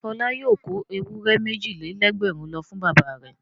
Ǹjẹ́ Fọlá yóò kó ewúrẹ́ méjì-lé-lẹ́gbẹ̀rún lọ fún bàbá rẹ̀?